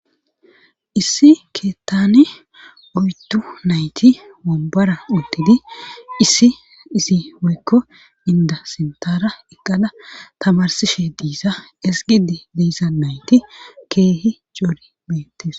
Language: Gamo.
issi keettane oytu nayti wobbara untidi isiisi woykko inda sintara eqqala tamarsishe diisa esgidi diisa nayti keehi coori beettis